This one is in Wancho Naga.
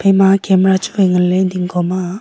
ama camera chuwai nganle dingkho ma.